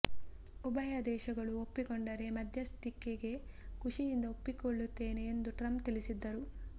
ಉಭಯ ದೇಶಗಳು ಒಪ್ಪಿಕೊಂಡರೆ ಮಧ್ಯಸ್ಥಿಕೆಗೆ ಖುಷಿಯಿಂದ ಒಪ್ಪಿಕೊಳ್ಳುತ್ತೇನೆ ಎಂದು ಟ್ರಂಪ್ ತಿಳಿಸಿದ್ದರು